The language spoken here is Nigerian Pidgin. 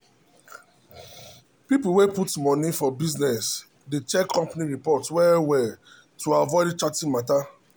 people way put money for business dey check company report well well to avoid cheating matter.